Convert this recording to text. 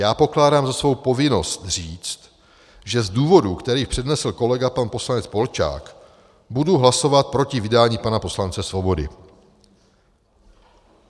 Já pokládám za svou povinnost říct, že z důvodu, který přednesl kolega pan poslanec Polčák, budu hlasovat proti vydání pana poslance Svobody."